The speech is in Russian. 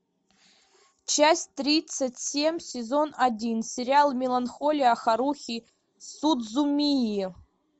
часть тридцать семь сезон один сериал меланхолия харухи судзумии